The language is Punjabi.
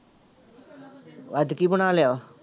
ਅੱਜ ਕੀ ਬਣਾ ਲਿਆ?